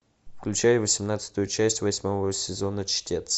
включай восемнадцатую часть восьмого сезона чтец